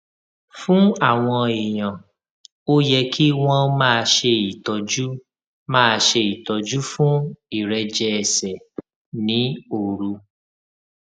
fún àwọn èèyàn ó yẹ kí wón máa ṣe ìtọjú máa ṣe ìtọjú fún ìrẹjẹ ẹsè ní òru